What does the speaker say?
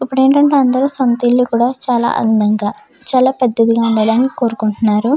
ఇప్పుడేంటంటే అందరూ సొంతిల్లు కూడా చాలా అందంగా చాలా పెద్దదిగా ఉండాలని కోరుకుంటున్నారు.